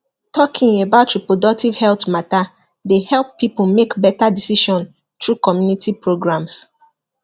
talking about reproductive health matter dey help people make better decision through community programs